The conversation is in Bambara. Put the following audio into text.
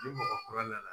Ni mɔgɔ kura nana